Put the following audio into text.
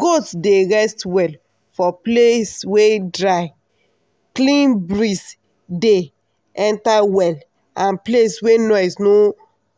goat dey rest well for place wey drycleanbreeze dey enter well and place wey noise no